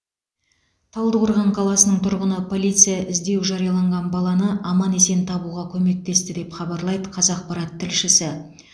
талдықорған қаласының тұрғыны полиция іздеу жарияланған баланы аман есен табуға көмектесті деп хабарлайды қазақпарат тілшісі